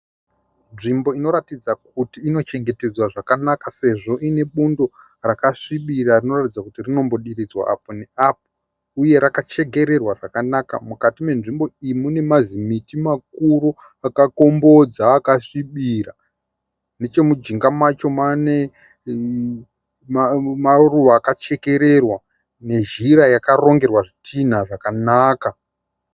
Nzvimbo inoratidza kuti inochengetedzwa zvakanaka sezvo ine bundo rakasvibira rinoratidza kuti rinobhodhiridzwa apo neapo uye rakachekerwa zvakanaka. Mukati menzvimbo iyi munemazimiti makuru akakombodza akasvibirira ,nechemunjinga macho mune maruva akachekerewa nezhira yakarongerwa zvitinha zvakanaka.